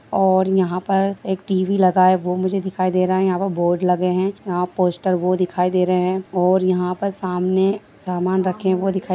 और यहाँ पर एक टी_वी लगा है वो मुझे दिखाई दे रहा है यहाँ पर बोर्ड लगे है यह पोस्टर वो दिखाई दे रहे है और यहाँ पर सामने सामान रखे है वो दिखाई--